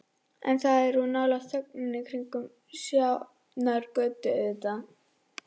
En það var of nálægt þögninni kringum Sjafnargötu, auðvitað.